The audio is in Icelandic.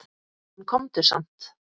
En komdu samt!